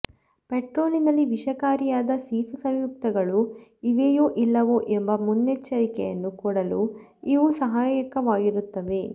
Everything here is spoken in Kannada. ಪೆಟ್ರೋಲಿನಲ್ಲಿ ವಿಷಕಾರಿಯಾದ ಸೀಸಸಂಯುಕ್ತಗಳು ಇವೆಯೊ ಇಲ್ಲವೊ ಎಂಬ ಮುನ್ನೆಚ್ಚರಿಕೆಯನ್ನು ಕೊಡಲು ಇವು ಸಹಾಯಕವಾಗುತ್ತವೆ